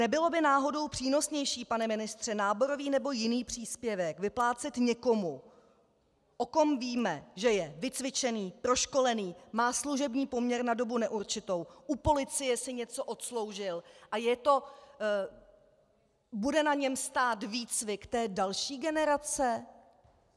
Nebylo by náhodou přínosnější, pane ministře, náborový nebo jiný příspěvek vyplácet někomu, o kom víme, že je vycvičený, proškolený, má služební poměr na dobu neurčitou, u policie si něco odsloužil a bude na něm stát výcvik té další generace?